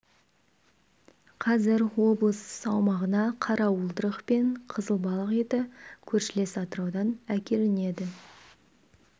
қазір облыс аумағына қара уылдырық пен қызыл балық еті көршілес атыраудан әкелінеді